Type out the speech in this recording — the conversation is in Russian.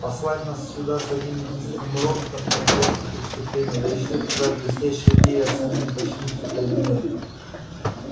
послать нас сюда с одним единственным роботом это просто преступление да ещё эта твоя блестящая идея самим починить фотоэлементы